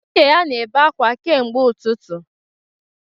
Nwunye ya na-ebe akwa kemgbe ụtụtụ